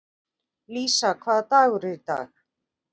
Lísa, hvaða dagur er í dag?